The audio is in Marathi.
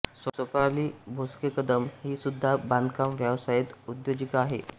स्वप्नाली भोसलेकदम ही सुद्धा बांधकाम व्यवसायात उद्योजिका आहे